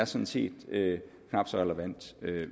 sådan set knap så relevant